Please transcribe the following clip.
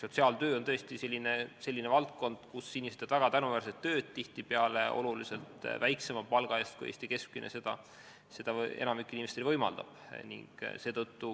Sotsiaaltöö on tõesti selline valdkond, kus inimesed teevad väga tänuväärset tööd tihtipeale oluliselt väiksema palga eest kui Eesti keskmine.